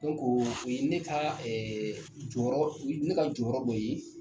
Dɔnku o ne ta ɛɛ jɔyɔrɔ ne ka jɔyɔrɔ dɔ ye